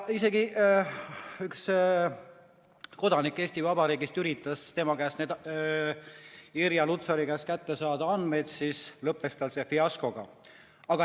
Kui üks Eesti Vabariigi kodanik üritas Irja Lutsari käest andmeid saada, siis lõppes see tal fiaskoga.